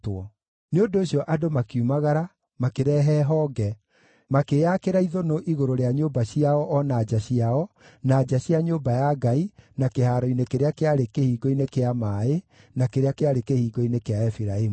Nĩ ũndũ ũcio andũ makiumagara, makĩrehe honge, makĩĩakĩra ithũnũ igũrũ rĩa nyũmba ciao o na nja ciao, na nja cia nyũmba ya Ngai, na kĩhaaro-inĩ kĩrĩa kĩarĩ Kĩhingo-inĩ kĩa Maaĩ, na kĩrĩa kĩarĩ Kĩhingo-inĩ kĩa Efiraimu.